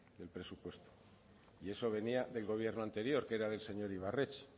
del presupuesto y eso venía del gobierno anterior que era del señor ibarretxe